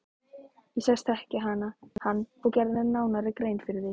Ég sagðist þekkja hann og gerði nánari grein fyrir því.